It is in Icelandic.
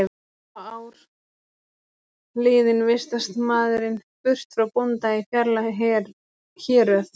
Eftir fá ár liðin vistast maðurinn burt frá bónda í fjarlæg héröð.